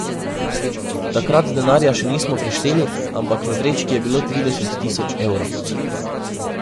Takrat denarja še nismo prešteli, ampak v vrečki je bilo trideset tisoč evrov.